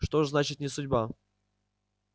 что ж значит не судьба